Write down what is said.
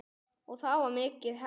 Og þá var mikið hlegið.